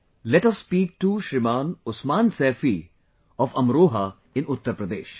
Let us speak to Shriman Usman Saifi of Amroha in Uttar Pradesh